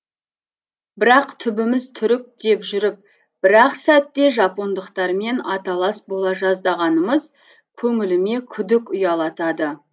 бірақ түбіміз түрік деп жүріп бір ақ сәтте жапондықтармен аталас бола жаздағанымыз көңіліме күдік ұялатады